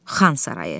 Xan Sarayı.